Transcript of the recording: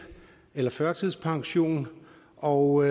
eller førtidspension og